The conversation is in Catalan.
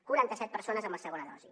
quaranta set persones amb la segona dosi